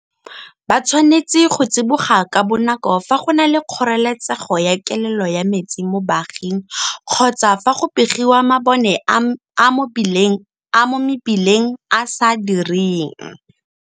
Ba tshwanetse go tsiboga ka bonako fa go na le kgoreletsego ya kelelo ya metsi mo baaging kgotsa fa go begiwa mabone a mo mebileng a a sa direng.